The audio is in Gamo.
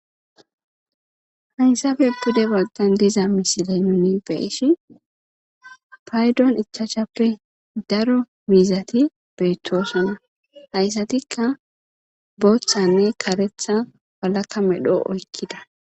haysafe pude balqan diza misile nuni beeshi paydon ichaacshappe daro miizati beettosunna hayssatikka booththanne karetha balakka medhoo oykkida